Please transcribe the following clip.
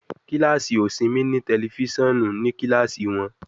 Kilasi osinmi ni tẹlifisiọnu ni kilasi wọn